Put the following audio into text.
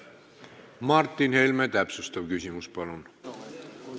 Martin Helme, täpsustav küsimus, palun!